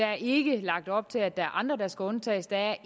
er ikke lagt op til at der er andre der skal undtages der